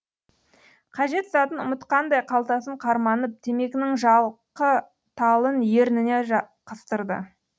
қажет затын ұмытқандай қалтасын қарманып темекінің жалқы талын ерніне қыстырды